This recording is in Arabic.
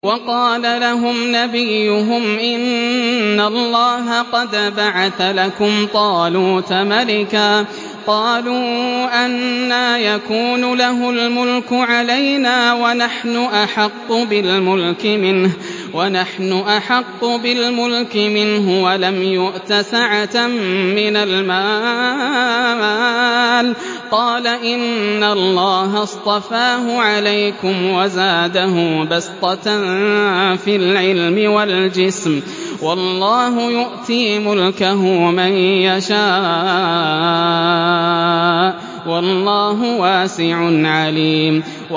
وَقَالَ لَهُمْ نَبِيُّهُمْ إِنَّ اللَّهَ قَدْ بَعَثَ لَكُمْ طَالُوتَ مَلِكًا ۚ قَالُوا أَنَّىٰ يَكُونُ لَهُ الْمُلْكُ عَلَيْنَا وَنَحْنُ أَحَقُّ بِالْمُلْكِ مِنْهُ وَلَمْ يُؤْتَ سَعَةً مِّنَ الْمَالِ ۚ قَالَ إِنَّ اللَّهَ اصْطَفَاهُ عَلَيْكُمْ وَزَادَهُ بَسْطَةً فِي الْعِلْمِ وَالْجِسْمِ ۖ وَاللَّهُ يُؤْتِي مُلْكَهُ مَن يَشَاءُ ۚ وَاللَّهُ وَاسِعٌ عَلِيمٌ